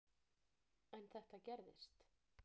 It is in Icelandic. En þetta gerist.